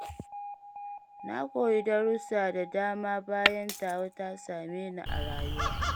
Na koyi darussa da dama bayan tawa ta same Ni a rayuwa.